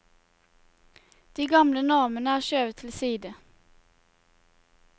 De gamle normene er skjøvet til side.